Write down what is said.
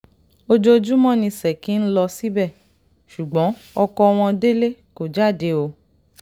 ojoojúmọ́ ni ṣèkì ń lọ síbẹ̀ ṣùgbọ́n ọkọ wọn délé kò jáde o